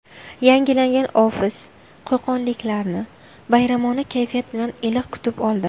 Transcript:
Yangilangan ofis qo‘qonliklarni bayramona kayfiyat bilan iliq kutib oldi.